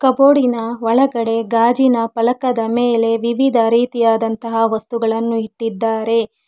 ಬೋರ್ಡಿನ ಒಳಗಡೆ ಗಾಜಿನ ಫಲಕದ ಮೇಲೆ ವಿವಿಧ ರೀತಿಯಾದಂತಹ ವಸ್ತುಗಳನ್ನು ಇಟ್ಟಿದ್ದಾರೆ.